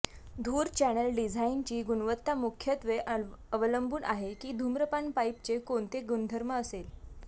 धूर चॅनेल डिझाइनची गुणवत्ता मुख्यत्वे अवलंबून आहे की धूम्रपान पाईपचे कोणते गुणधर्म असेल